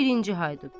Birinci Haydut.